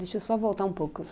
Deixa eu só voltar um pouco.